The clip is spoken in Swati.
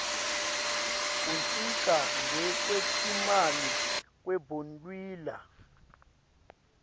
kuncika ngekwetimali kwebondliwa